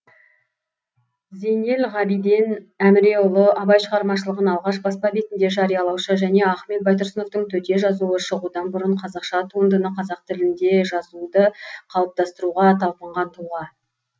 зейнелғабиден әміреұлы абай шығармашылығын алғаш баспа бетінде жариялаушы және ахмет байтұрсыновтың төте жазуы шығудан бұрын қазақша туындыны қазақ тілінде жазуды қалыптастыруға талпынған тұлға